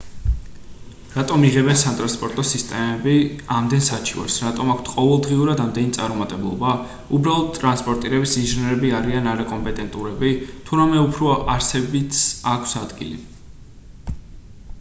რატომ იღებენ სატრანსპორტო სისტემები ამდენ საჩივარს რატომ აქვთ ყოველდღიურად ამდენი წარუმატებლობა უბრალოდ ტრანსპორტირების ინჟინრები არიან არაკომპეტენტურები თუ რამე უფრო არსებითს აქვს ადგილი